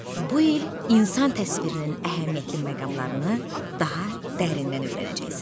Bu il insan təsvirinin əhəmiyyətli məqamlarını daha dərindən öyrənəcəksən.